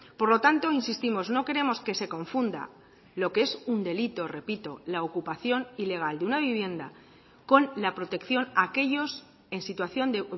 por lo tanto insistimos no queremos que se confunda lo que es un delito repito la ocupación ilegal de una vivienda con la protección a aquellos en situación de